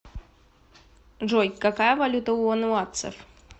джой какая валюта у вануатцев